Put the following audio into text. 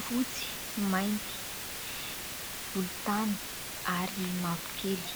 fotsy, mainty, volontany ary mavokely.